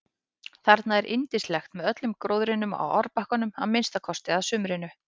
Þarna er yndislegt með öllum gróðrinum á árbakkanum að minnsta kosti að sumrinu.